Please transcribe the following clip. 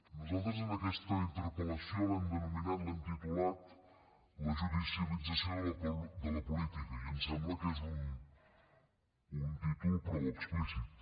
nosaltres aquesta interpel·lació l’hem denominat l’hem titulat la judicialització de la política i ens sembla que és un títol prou explícit